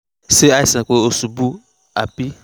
ṣé àìsàn pé ó ṣubú ni àbí nǹkan mìíràn wà tó ń ṣẹlẹ̀ nínú ara rẹ̀?